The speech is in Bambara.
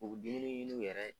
U diminen i nun yɛrɛ.